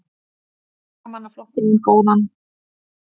Verkamannaflokkurinn vann góðan sigur